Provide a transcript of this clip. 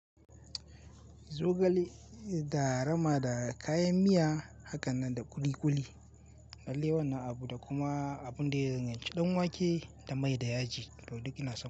Zogale da rama da kayan miya, hakanan da ƙuli ƙuli, alewar na abu da kuma abun da ya danganci, ci ɗan wake da mai da yaji, to duk ina san.